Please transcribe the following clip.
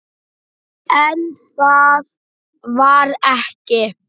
En það var ekki.